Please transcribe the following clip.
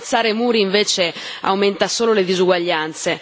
Alzare muri, invece, aumenta solo le disuguaglianze.